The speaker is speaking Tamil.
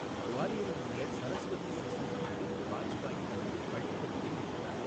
குவாலியரில் உள்ள சரஸ்வதி சிசு மந்திரில் வாஜ்பாய் தனது பள்ளிப்படிப்பை முடித்தார்.